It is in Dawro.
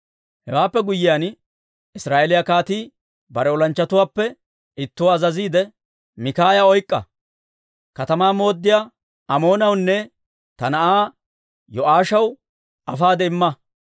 Hewaappe guyyiyaan, Israa'eeliyaa kaatii bare olanchchatuwaappe ittuwaa azaziidde, «Mikaaya oyk'k'a; katamaa mooddiyaa Amoonawunne ta na'aa Yo'aashaw afaade imma.